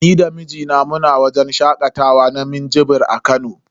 Ni da mijina muna wajen shakatawa na minjibir a Kano.